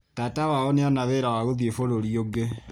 Tata wao nĩ ona wĩra wa gũthi bũrũri ũngĩ.